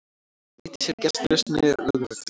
Nýtti sér gestrisni lögreglu